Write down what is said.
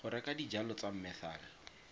go reka dijalo tsa methal